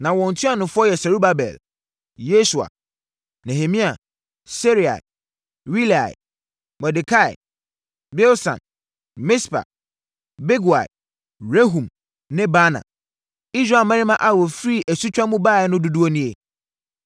Na wɔn ntuanofoɔ yɛ Serubabel, Yesua, Nehemia, + 2.2 Saa Nehemia yi nyɛ Nehemia a ɔtwerɛɛ Nehemia Nwoma no. Seraia, Reelaia, Mordekai, Bilsan, Mispar, Bigwai, Rehum ne Baana. Israel mmarima a wɔfiri asutwa mu baeɛ no dodoɔ nie: 1